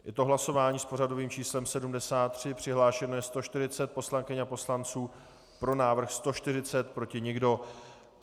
Je to hlasování s pořadovým číslem 73, přihlášeno je 140 poslankyň a poslanců, pro návrh 140, proti nikdo.